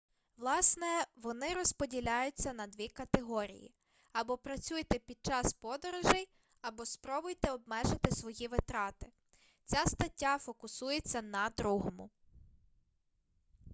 власне вони розділяються на дві категорії або працюйте під час подорожей або спробуйте обмежити свої витрати ця стаття фокусується на другому